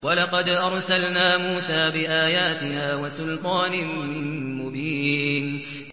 وَلَقَدْ أَرْسَلْنَا مُوسَىٰ بِآيَاتِنَا وَسُلْطَانٍ مُّبِينٍ